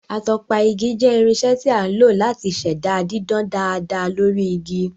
Atọpa igi jẹ́ irinṣẹ́ tí a lò láti ṣẹ̀dá dídán dáadáa lórí igi